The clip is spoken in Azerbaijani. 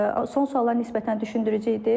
Son suallar nisbətən düşündürücü idi.